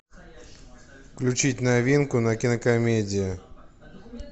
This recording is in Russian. включить новинку на кинокомедии